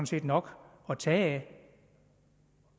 set nok at tage af